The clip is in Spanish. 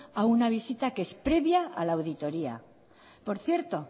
a una visita que es previa a la auditoria por cierto